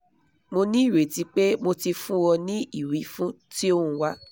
mo ní ireti pé mo ti fún ọ ní ìwífún tí o ń wá